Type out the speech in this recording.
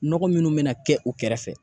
Nɔgɔ minnu mɛna kɛ u kɛrɛfɛ